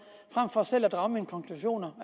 frem for selv at drage mine konklusioner